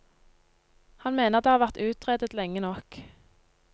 Han mener det har vært utredet lenge nok.